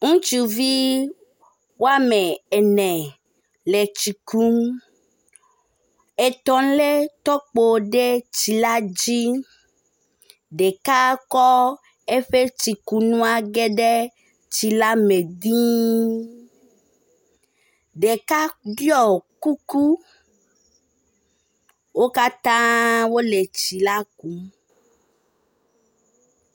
Ŋutsuvi woamene le tsi kum. Etɔ̃ lé tɔkpo ɖe tsi la dzi. Ɖeka kɔ eƒe tsikunua ge ɖe tsi la me diiii. Ɖeka ɖɔi kuku. Wo katã wole tsi la kum